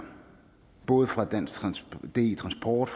både fra di transport